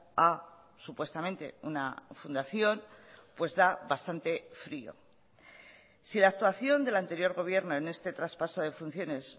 a supuestamente una fundación pues da bastante frío si la actuación del anterior gobierno en este traspaso de funciones